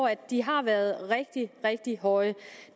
at de har været rigtig rigtig høje